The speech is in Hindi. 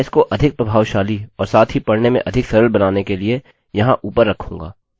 मैं इसको अधिक प्रभावशाली और साथ ही पढ़ने में अधिक सरल बनाने के लिए यहाँ ऊपर रखूँगा